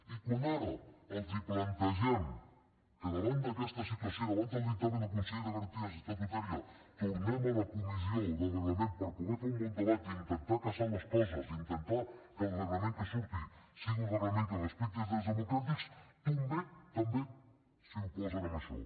i quan ara els plantegem que davant d’aquesta situació i davant del dictamen del consell de garanties estatutàries tornem a la comissió del reglament per poder fer un bon debat i intentar casar les coses i intentar que el reglament que en surti sigui un reglament que respecti els drets democràtics també s’oposen a això